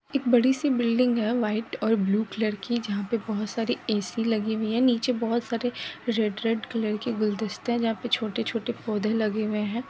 एक बड़ी सी बिल्डिंग है व्हाइट और ब्लू कलर की जहां पे बहोत सारी ऐ.सी लगी हुई हैं नीचे बहोत सारे रेड-रेड कलर के गुलदस्ते है जहां पे छोटे-छोटे पौधे लगे हुए हैं।